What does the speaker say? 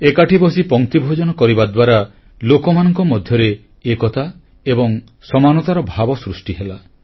ଏକାଠି ବସି ପଂକ୍ତିଭୋଜନ କରିବା ଦ୍ୱାରା ଲୋକମାନଙ୍କ ମଧ୍ୟରେ ଏକତା ଏବଂ ସମାନତାର ଭାବ ସୃଷ୍ଟିହେଲା